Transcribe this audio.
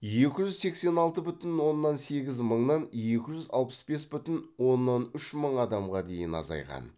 екі жүз сексен алты бүтін оннан сегіз мыңнан екі жүз алпыс бес бүтін оннан үш мың адамға дейін азайған